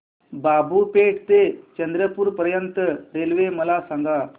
बाबूपेठ ते चंद्रपूर पर्यंत रेल्वे मला सांगा